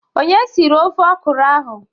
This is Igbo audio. Onye siri ofe ọkụrụ ahụ?